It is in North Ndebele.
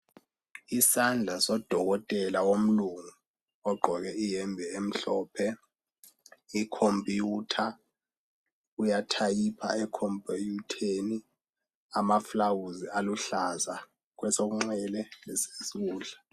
Isandla sodokotela womlungu ogqoke ihembe emhlophe ikhompiyutha uyathayipha ekhompiyutheni amafulawuzi aluhlaza kwesokunxele lesokudla.